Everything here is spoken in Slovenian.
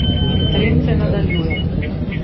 In trend se nadaljuje.